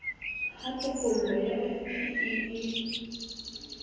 ha tokollo ya fpe e